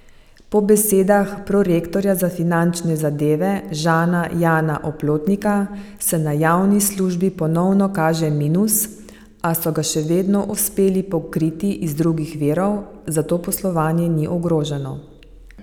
Po besedah prorektorja za finančne zadeve Žana Jana Oplotnika se na javni službi ponovno kaže minus, a so ga še vedno uspeli pokriti iz drugih virov, zato poslovanje ni ogroženo.